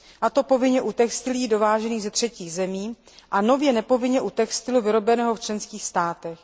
A to povinně u textilií dovážených ze třetích zemí a nově nepovinně u textilu vyrobeného v členských státech.